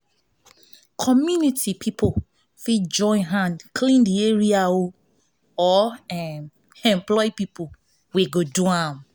community pipo fit join hand clean di area or um employ pipo wey go do am